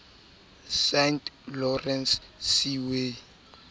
saint lawrence seaway